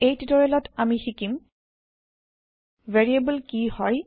এই টিওটৰিয়েলত আমি শিকিম ভেৰিয়েব্ল কি হয়160